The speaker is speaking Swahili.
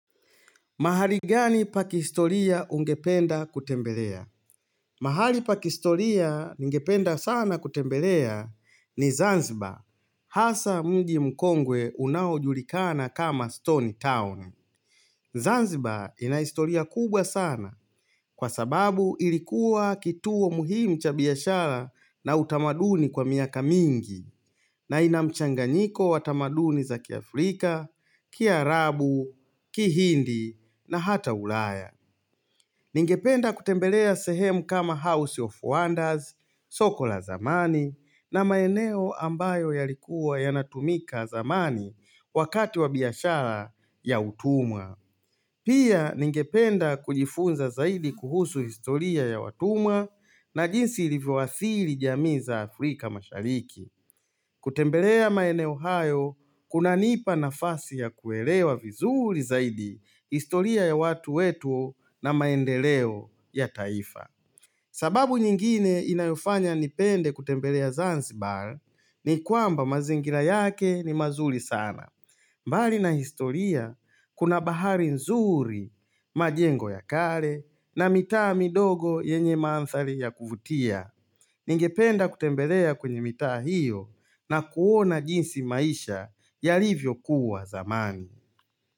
Mahali gani pakihistoria ungependa kutembelea? Mahali pakihistoria ningependa sana kutembelea ni Zanzibar. Hasa mji mkongwe unaojulikana kama Stone Town. Zanzibar inahistoria kubwa sana kwa sababu ilikuwa kituo muhimu cha biyashara na utamaduni kwa miaka mingi. Na inamchanganyiko watamaduni za kia Afrika, kia Arabu, kihindi na hata ulaya. Ningependa kutembelea sehemu kama House of Wonders, soko la zamani na maeneo ambayo yalikuwa yanatumika zamani wakati wa biashara ya utumwa. Pia ningependa kujifunza zaidi kuhusu historia ya watumwa na jinsi ilivuathiri jamii za Afrika mashariki. Kutembelea maeneo hayo kuna nipa nafasi ya kuelewa vizuri zaidi historia ya watu wetu na maendeleo ya taifa sababu nyingine inayofanya nipende kutembelea Zanzibar ni kwamba mazingira yake ni mazuri sana mbali na historia kuna bahari nzuri majengo ya kale na mitaa midogo yenye maanthali ya kuvutia Ningependa kutembelea kwenye mita hiyo na kuona jinsi maisha yalivyo kuwa zamani.